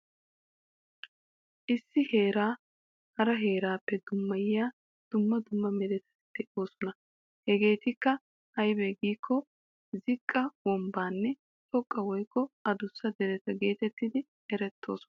Issi heera hara heerappe dummayiya dumma dumma meretati de'oosona. Hegeekka aybe giikko ziqqa wombbaanne xoqqa woykko adussa dereta geetettidi erettoosona.